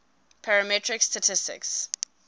parametric statistics